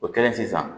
O kɛlen sisan